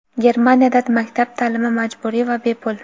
Germaniyada maktab taʼlimi majburiy va bepul.